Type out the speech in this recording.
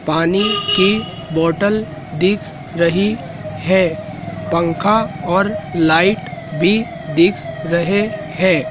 पानी की बॉटल दिख रही है पंखा और लाइट भी दिख रहे हैं।